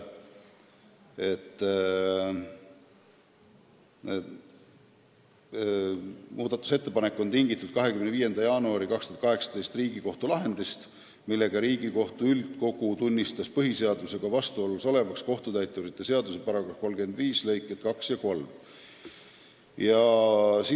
Muudatusettepanek on tingitud Riigikohtu 25. jaanuaril 2018 tehtud lahendist, millega Riigikohtu üldkogu tunnistas kohtutäiturite seaduse § 35 lõiked 2 ja 3 põhiseadusega vastuolus olevaks.